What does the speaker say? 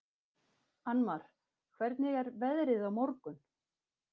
Annmar, hvernig er veðrið á morgun?